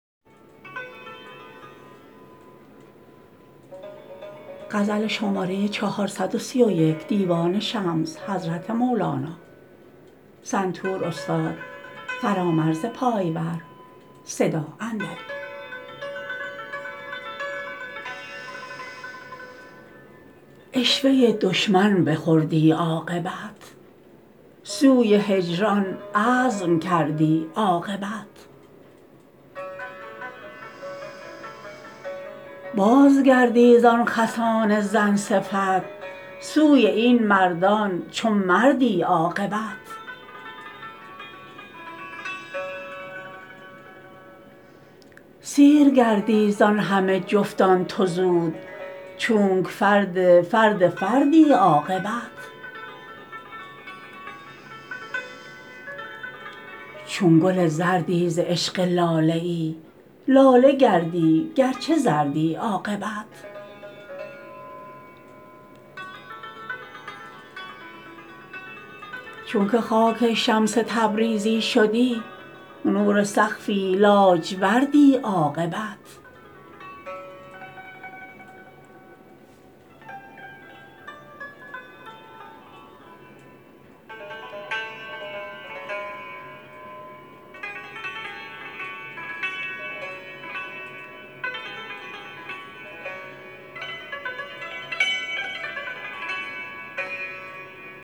عشوه دشمن بخوردی عاقبت سوی هجران عزم کردی عاقبت بازگردی زان خسان زن صفت سوی این مردان چو مردی عاقبت سیر گردی زان همه جفتان تو زود چونک فرد فرد فردی عاقبت چون گل زردی ز عشق لاله ای لاله گردی گرچه زردی عاقبت چونک خاک شمس تبریزی شدی نور سقفی لاجوردی عاقبت